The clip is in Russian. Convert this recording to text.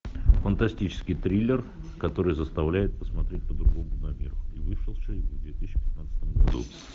фантастический триллер который заставляет посмотреть по другому на мир и вышедший в две тысячи пятнадцатом году